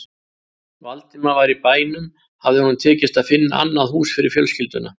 Valdimar var í bænum hafði honum tekist að finna annað hús fyrir fjölskylduna.